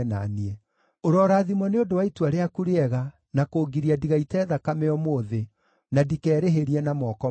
Ũrorathimwo nĩ ũndũ wa itua rĩaku rĩega na kũngiria ndigaite thakame ũmũthĩ, na ndikerĩhĩrie na moko makwa.